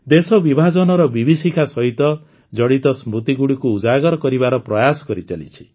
ଦେଶ ବିଭାଜନର ବିଭୀଷିକା ସହିତ ଜଡ଼ିତ ସ୍ମୃତିଗୁଡ଼ିକୁ ଉଜାଗର କରିବାର ପ୍ରୟାସ କରିଚାଲିଛି